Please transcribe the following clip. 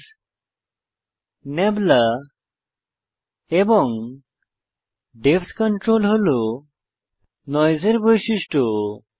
cloud টেক্সচারে size নাবলা এবং ডেপথ কন্ট্রোল হল নয়েসের বৈশিষ্ট্য